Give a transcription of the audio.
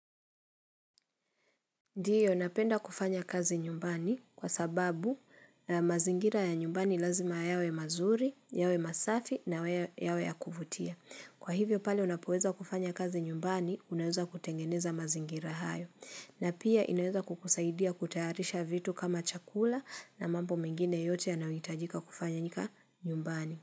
Ndiyo, ninapenda kufanya kazi nyumbani kwa sababu mazingira ya nyumbani lazima yawe mazuri, yawe masafi na yawe ya kuvutia. Kwa hivyo pale unapoweza kufanya kazi nyumbani, unaweza kutengeneza mazingira hayo. Na pia inaweza kukusaidia kutayarisha vitu kama chakula na mambo mingine yote yanayohitajika kufanyika nyumbani.